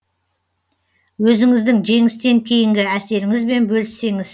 өзіңіздің жеңістен кейінгі әсеріңізбен бөліссеңіз